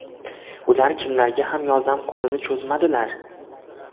Ular kimlarga ham yordam qo‘lini cho‘zmadilar!